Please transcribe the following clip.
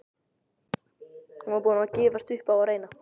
Ég er búinn að gefast upp á að reyna